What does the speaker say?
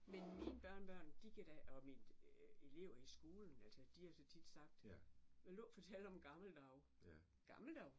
Men mine børnebørn de kan da og mine elever i skolen altså de har så tit sagt vil du ikke fortælle om gamle dage gamle dage?